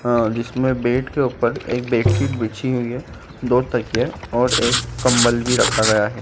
हाँ जिसमें बेड के ऊपर एक बेडशीट बिछी हुई है दो तकिया और एक कंबल भी रखा गया है।